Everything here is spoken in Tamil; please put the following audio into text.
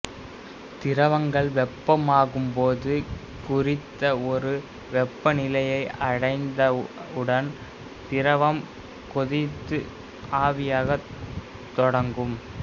திரவங்கள் வெப்பமாகும்போது குறித்த ஒரு வெப்பநிலையை அடைந்தவுடன் திரவம் கொதித்து ஆவியாகத் தொடங்கும்